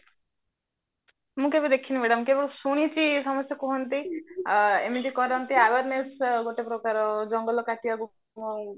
ମୁଁ କେବେ ଦେଖିଣି madam କେବଳ ଶୁଣିଛି ସମସ୍ତେ କୁହନ୍ତି ଆ ଏମିତି କରନ୍ତି awareness ଗୋଟେ ପ୍ରକାର ଜଙ୍ଗଲ କାଟିବାକୁ